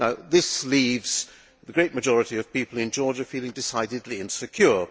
This leaves the great majority of people in Georgia feeling decidedly insecure.